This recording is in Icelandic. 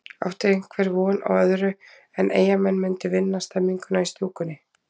Átti einhver von á öðru en að Eyjamenn myndu vinna stemninguna í stúkunni?